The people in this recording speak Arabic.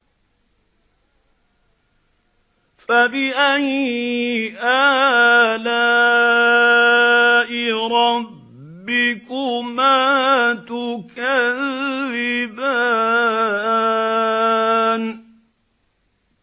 فَبِأَيِّ آلَاءِ رَبِّكُمَا تُكَذِّبَانِ